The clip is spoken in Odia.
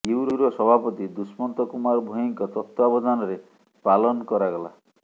ୟୁ ର ସଭାପତି ଦୁଷ୍ମନ୍ତ କୁମାର ଭୋଇ ଙ୍କ ତତ୍ୱାବଧାନରେ ପାଲନ କରାଗଲା